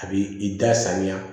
A b'i i da san